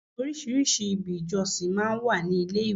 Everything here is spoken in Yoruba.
Àwọn orísìírísìí ibi ìjọsìn máa ń wà ní ilé ìwé.